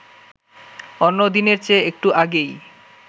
অন্য দিনের চেয়ে একটু আগেই